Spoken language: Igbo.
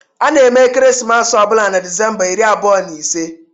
A na-eme ekeresimesi ọ bụla na Disemba iri abụọ na ise